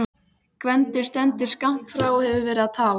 Gvendur stendur skammt frá og hefur verið að tala.